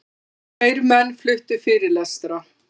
Tveir menn fluttu fyrirlestra.